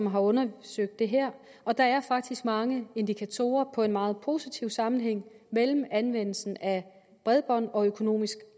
har undersøgt det her og der er faktisk mange indikatorer på en meget positiv sammenhæng mellem anvendelsen af bredbånd og økonomisk